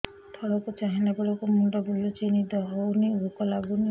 ତଳକୁ ଚାହିଁଲା ବେଳକୁ ମୁଣ୍ଡ ବୁଲୁଚି ନିଦ ହଉନି ଭୁକ ଲାଗୁନି